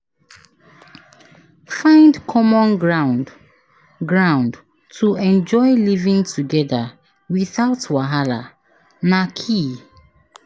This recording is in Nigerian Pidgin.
Find common ground ground to enjoy living together without wahala, na key.